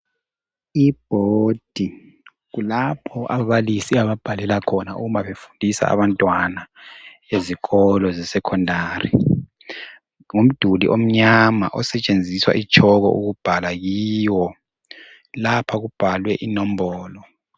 Ibhodi kulapho ababalisi ababhalela khona uma befundisa abantwana ezikolo ze-secondary ngumduli onyama esetshenziswa i-tshoko ukubhala kiwo lapha kubhalwe inombolo.